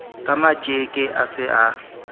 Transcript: ka matjeke a se a